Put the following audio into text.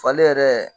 Falen yɛrɛ